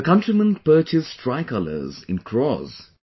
The countrymen purchased tricolors in crores